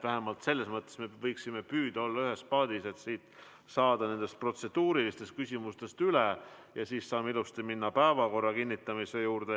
Vähemalt selles mõttes me võiksime püüda olla ühes paadis, et saame protseduurilistest küsimustest üle ja siis saame ilusti minna päevakorra kinnitamise juurde.